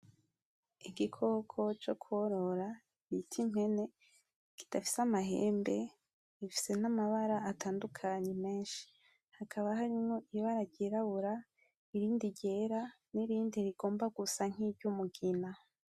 Igikoko co korora bita impene kidafise amahembe gifise n’amabara atandukanye menshi hakaba harimwo ibara ryirabura, irindi ryera n’irindi rigomba gusa nki ry’umugina.